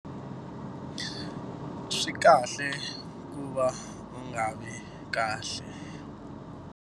Swi kahle ku va u nga vi kahle.